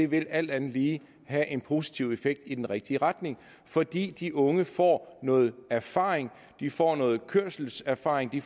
vil alt andet lige have en positiv effekt i den rigtige retning fordi de unge får noget erfaring de får noget kørselserfaring de